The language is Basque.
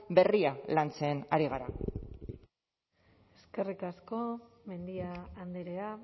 berria lantzen ari gara eskerrik asko mendia andrea